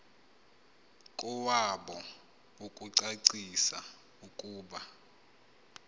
kowabo ukucacisa ukuba